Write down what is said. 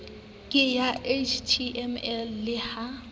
ke ya html le ha